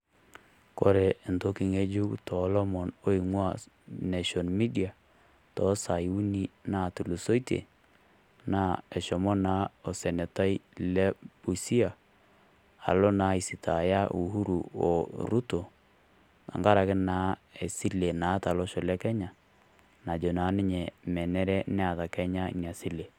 Kore entoki ng'ejuk too lomon oing'ua nation media too sai uni naatulusoitie, naa eshomo naa osenetai Les Busia aisitaaya Uhuru oRuto tenkaraki naa esile naata Olosho leKenya najo naa ninye menare Neeta Kenya Ina sile.